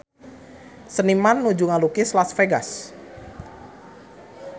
Seniman nuju ngalukis Las Vegas